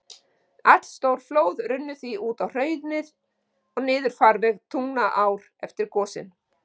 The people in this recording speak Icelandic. Allstór flóð runnu því út á hraunin og niður farveg Tungnaár eftir gosin.